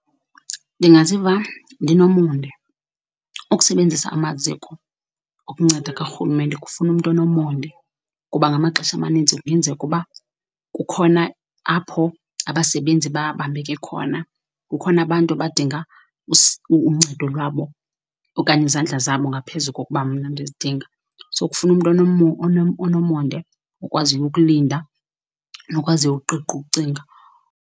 Ndingaziva ndinomonde, ukusebenzisa amaziko okunceda karhulumente kufuna umntu onomonde, kuba ngamaxesha amaninzi kuyenzeka uba kukhona apho abasebenzi babambeke khona, kukhona abantu abadinga uncedo lwabo okanye izandla zabo ngaphezu kokuba mna ndizidinga. So kufuna umntu onomonde, okwaziyo ukulinda nokwaziyo ukuqiqa ukucinga.